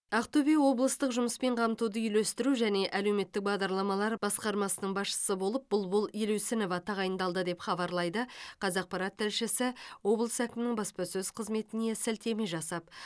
ақтөбе облыстық жұмыспен қамтуды үйлестіру және әлеуметтік бағдарламалар басқармасының басшысы болып бұлбұл елеусінова тағайындалды деп хабарлайды қазақпарат тілшісі облыс әкімінің баспасөз қызметіне сілтеме жасап